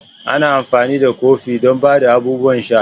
Ana amfani da kofin don ba da abubuwan sha.